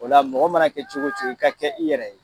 O la mɔgɔ mana kɛ cogo cogo i ka kɛ i yɛrɛ ye.